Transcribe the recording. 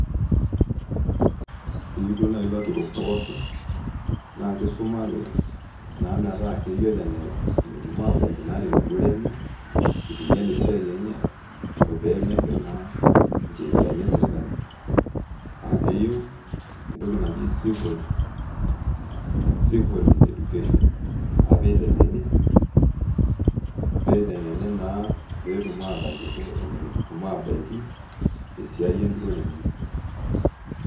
Keyieu duo naji ilaturok pooki naa kisuma nake naa metaa keyioloi ake enetum aabaiki naa tenturore enye eitu einyal esiai enye oo pee megil naa ncheriani esirkali uh keyieu entoki naji civil education uh pee eitengeni naa peyie etum aatayiolo enetum aatabaiki te siai enturore enye.